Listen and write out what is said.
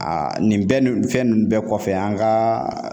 Aa nin bɛɛ nn fɛn nu bɛɛ kɔfɛ an kaa